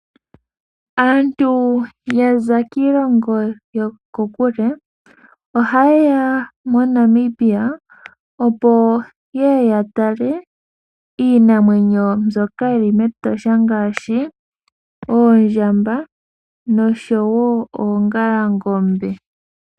Aantu yaza kiilongo yokokule ohayeya moNamibia opo yeye ya tale iinamwenyo mbyoka yili mEtosha ngaashi oondjamba noshowo oongalangombe.